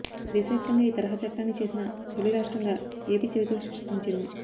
దేశ వ్యాప్తంగా ఈ తరహా చట్టాన్ని చేసిన తొలి రాష్ట్రంగా ఎపి చరిత్ర సృష్టించింది